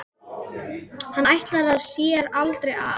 Hann ætlaði sér aldrei af.